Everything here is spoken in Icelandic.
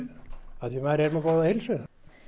að ég er með góða heilsu